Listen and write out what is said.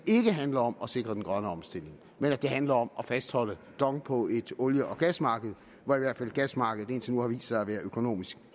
handler om at sikre den grønne omstilling men at det handler om at fastholde dong på et olie og gasmarked hvor i hvert fald gasmarkedet indtil nu har vist sig at være økonomisk